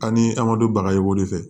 Ani an ka du bagayogo de fɛ